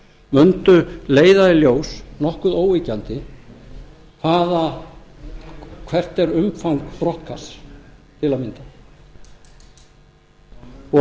mundu leiða í ljós nokkuð óyggjandi hvert er umfang brottkasts til að mynda og